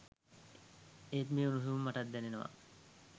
ඒත් මේ උණුහුම මටත් දැනෙනවා.